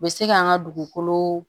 U bɛ se k'an ka dugukolo